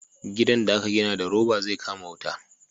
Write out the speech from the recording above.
gidan da a ka gina da roba zai kama wuta